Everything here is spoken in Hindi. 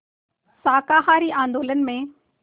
शाकाहारी आंदोलन में